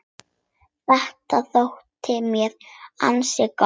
Þetta þótti mér ansi gott.